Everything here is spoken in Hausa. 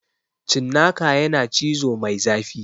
Cinnaka yana cizo mai zafi